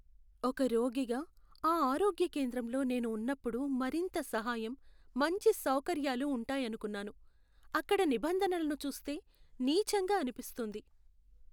ఒక రోగిగా, ఆ ఆరోగ్య కేంద్రంలో నేను ఉన్నప్పుడు మరింత సహాయం, మంచి సౌకర్యాలు ఉంటాయనుకున్నాను, అక్కడ నిబంధనలను చూస్తే నీచంగా అనిపిస్తుంది.